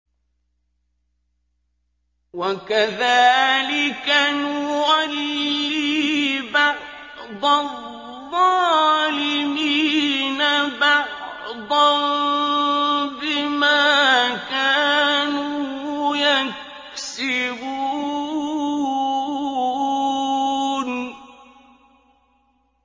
وَكَذَٰلِكَ نُوَلِّي بَعْضَ الظَّالِمِينَ بَعْضًا بِمَا كَانُوا يَكْسِبُونَ